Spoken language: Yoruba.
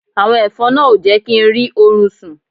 Àwọn ẹ̀fọn náà ò jẹ́ kí n rí orun sún